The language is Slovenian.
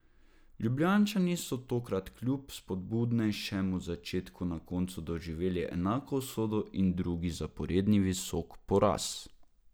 Ljubljančani so tokrat kljub spodbudnejšemu začetku na koncu doživeli enako usodo in drugi zaporedni visok poraz.